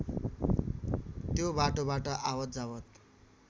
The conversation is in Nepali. त्यो बाटोबाट आवतजावत